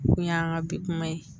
Kun y'an ka bi kuma ye